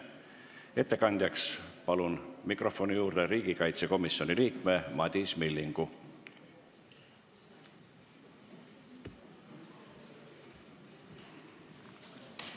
Ettekandjaks palun mikrofoni juurde riigikaitsekomisjoni liikme Madis Millingu!